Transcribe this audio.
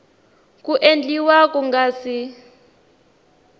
ku endliwa ku nga si